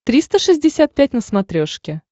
триста шестьдесят пять на смотрешке